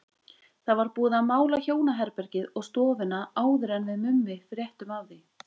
Það var búið að mála hjónaherbergið og stofuna áður en við Mummi fréttum af því.